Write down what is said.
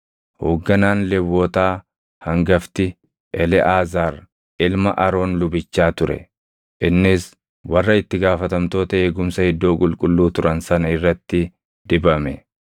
Hoogganaan Lewwotaa hangafti Eleʼaazaar ilma Aroon lubichaa ture. Innis warra itti gaafatamtoota eegumsa iddoo qulqulluu turan sana irratti dibame.